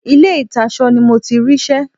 Ilé ìtasọ ni mo ti rí ṣẹ́.